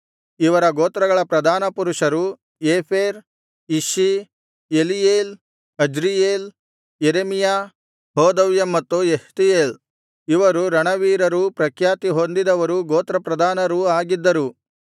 ಇವರ ಗೋತ್ರಗಳ ಪ್ರಧಾನ ಪುರುಷರು Epher Ishi Eliel Azriel Jeremiah Hodaviah ಮತ್ತು ಯೆಹ್ತೀಯೇಲ್ ಇವರು ರಣವೀರರೂ ಪ್ರಖ್ಯಾತಿ ಹೊಂದಿದವರು ಗೋತ್ರಪ್ರಧಾನರೂ ಆಗಿದ್ದರು